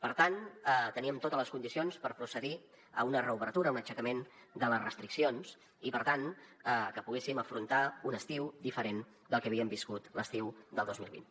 per tant teníem totes les condicions per procedir a una reobertura a un aixecament de les restriccions i per tant que poguéssim afrontar un estiu diferent del que havíem viscut l’estiu del dos mil vint